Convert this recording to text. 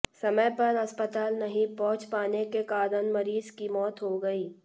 समय पर अस्पताल नहीं पहुंच पाने के कारण मरीज की मौत हो गयी